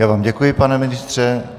Já vám děkuji, pane ministře.